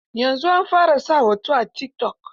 Yanzu an fara sa hoto a tikitok.